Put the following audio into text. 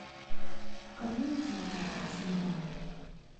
покажи на ти ви передачу еда